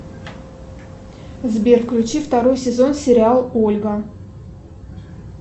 сбер включи второй сезон сериал ольга